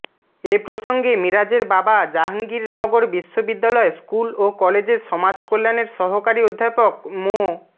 এ প্রসঙ্গে মিরাজের বাবা জাহাঙ্গীরনগর বিশ্ববিদ্যালয় স্কুল ও কলেজের সমাজকল্যাণের সহকারী অধ্যাপক মো